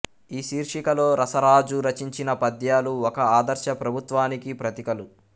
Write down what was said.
ఈ శీర్షికలో రసరాజు రచించిన పద్యాలు ఒక ఆదర్శ ప్రభుత్వానికి ప్రతీకలు